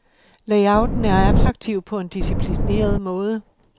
Layouten er attraktiv på en disciplineret måde.